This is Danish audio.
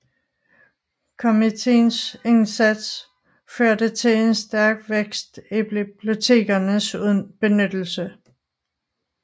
Komiteens indsats førte til en stærk vækst i bibliotekernes benyttelse